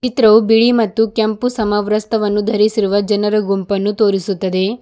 ಚಿತ್ರವೂ ಬಿಳಿ ಮತ್ತು ಕೆಂಪು ಸಮವಸ್ತ್ರವನ್ನು ಧರಿಸಿರುವ ಜನರ ಗುಂಪನ್ನು ತೋರಿಸುತ್ತದೆ.